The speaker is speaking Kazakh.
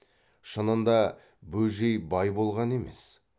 шынында бөжей бай болған емес